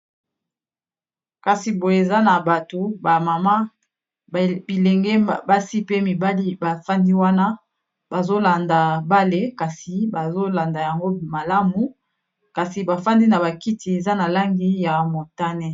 Kasi boye eza na bato ba mama bilenge basi pe mibali ba fandi wana bazo landa bale. Kasi bazo landa yango malamu. Kasi ba fandi na ba kiti eza na langi ya motane.